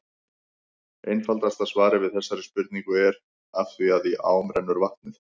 Einfaldasta svarið við þessari spurningu er: Af því að í ám rennur vatnið!